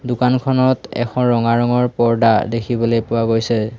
দোকানখনত এখন ৰঙা ৰঙৰ পৰ্দা দেখিবলৈ পোৱা গৈছে।